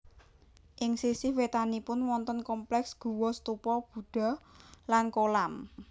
Ing sisih wétanipun wonten kompleks guwa stupa Budha lan kolam